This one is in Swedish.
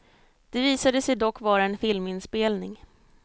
Det visade sig dock vara en filminspelning.